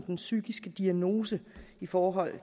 den psykiske diagnose i forhold